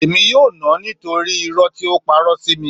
Èmi yóò nà án nítorí irọ́ tí ó parọ́ sí mi